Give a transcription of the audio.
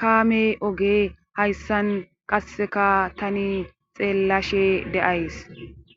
kaame oge hayssan qasseka tani xeellashe de'ays